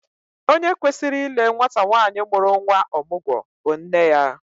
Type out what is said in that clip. Onye kwesịrị ile nwata nwaanyị mụrụ nnwa ọmụgwọ bụ nne ya